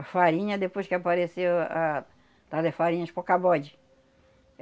farinha, depois que apareceu a, tal da farinha de